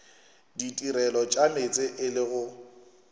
ditirelo tša meetse e lego